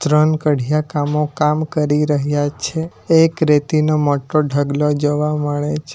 ત્રણ કડિયા કામો કામ કરી રહ્યા છે એક રેતી નો મોટો ઢગલો જોવા મળે છે.